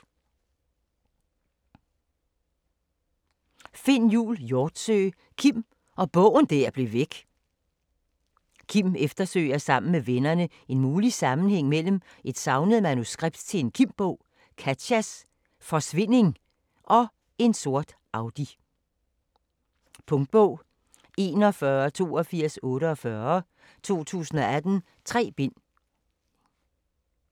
Hjortsøe, Finn Jul: Kim og bogen der blev væk Kim eftersøger sammen med vennerne en mulig sammenhæng mellem et savnet manuskript til en Kim-bog, Katjas forsvinding og en sort Audi. Punktbog 418248 2018. 3 bind.